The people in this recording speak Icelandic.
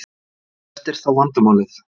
Hvert er þá vandamálið?